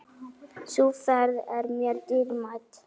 Sú ferð er mér dýrmæt.